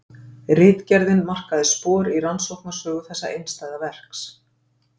Ritgerðin markaði spor í rannsóknarsögu þessa einstæða verks.